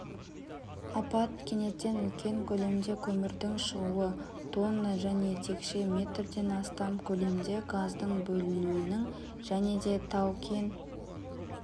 апат кенеттен үлкен көлемде көмірдің шығуы тонна және текше метрден астам көлемде газдың бөлінуінің жәнеде тау-кен